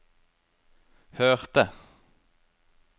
hørte